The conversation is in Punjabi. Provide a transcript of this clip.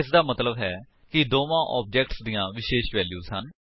ਇਸਦਾ ਮਤਲੱਬ ਹੈ ਕਿ ਦੋਵਾਂ ਆਬਜੇਕਟਸ ਦੀਆਂ ਵਿਸ਼ੇਸ਼ ਵੈਲਿਊਜ ਹਨ